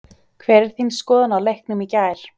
Hver er þín skoðun á leiknum í gær?